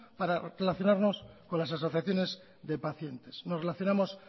para relacionarnos con las asociaciones de pacientes nos relacionamos